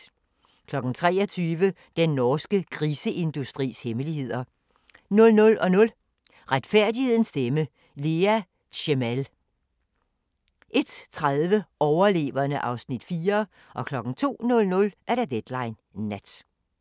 23:00: Den norske griseindustris hemmeligheder 00:00: Retfærdighedens stemme: Lea Tsemel 01:30: Overleverne (Afs. 4) 02:00: Deadline Nat